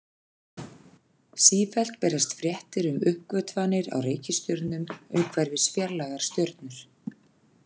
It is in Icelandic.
Sífellt berast fréttir um uppgötvanir á reikistjörnum umhverfis fjarlægar stjörnur.